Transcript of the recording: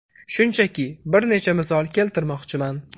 Shunchaki bir necha misol keltirmoqchiman.